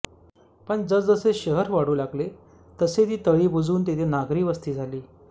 पण जसजसे शहर वाढू लागले तसे ती तळी बुजवून तिथे नागरी वस्ती झाली